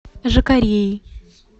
жакареи